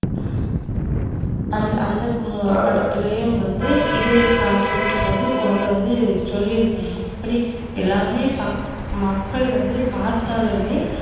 அந்த அந்த படத்துலயும் வந்து இதே concept வந்து கொண்டு வந்து சொல்லிருந்தேன் நான். மத்தபடி எல்லாமே மக்கள் வந்து பாத்தாலுமே